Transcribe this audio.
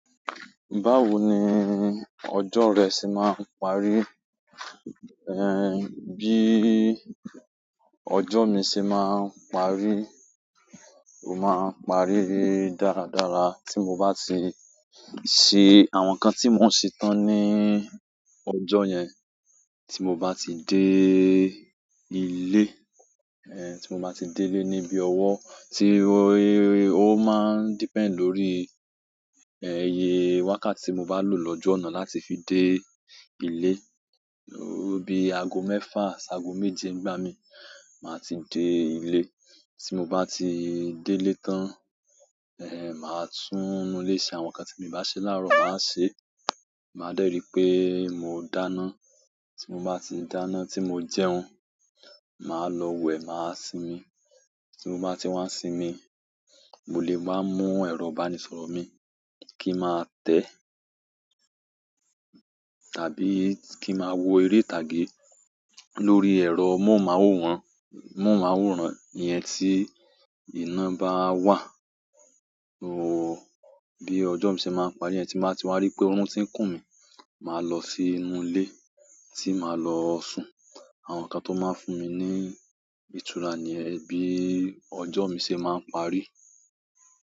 Báwo ni ọjọ́ rẹ ṣe máa ń parí? Bi ojo mi se maa n parí, o maa n parí dáradára ti mo ba ti se àwọn nkan ti mo n se tan ni ojo yen tí mo bá ti dé ilé, tí mo bá ti dé ilé níbí ọwọ́, tí ó máa ń depend lórí, iye wákàtí tí mo bá lò lójú ọ̀nà láti fi dé ilé. Bí aago mẹ́fà, aago méje ń gbá mi, màá ti dé ilé. Ti mo ba ti dele tan, maa tun inú ile se àwọn nkan ti mi o ba se laaro, maa se. Màá dẹ́ ri pé mo dáná. Tí mo bá ti dáná tí mo jẹun, màá lọ wẹ̀, màá sinmi. Tí mo bá ti wá sinmi, mo lè máa mú ẹ̀rọ ìbánisọ̀rọ̀ mi kí n máa tẹ̀ tàbí kí máa wo eré ìtàgé lórí ẹ̀rọ móhùn máwòrán, móhùn máwòrán yẹn tí iná bá wà. Bí ọjọ́ mi ṣe máa ń parí, ẹ́ tí màá ti wá rí pé oorun ti ń kùn mí, màá lọ sínú ilé tí màá lọ sùn. Àwọn nkan to maa n fún mi ni ìtura niyen, bi ojo mi se maa n parí.